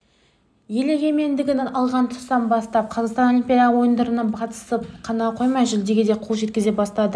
ел егемендігін алған тұстан бастап қазақстан олимпиада ойындарына қатысып қана қоймай жүлдеге де қол жеткізе бастады